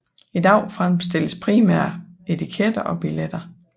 I dag fremstilles primært etiketter og billetter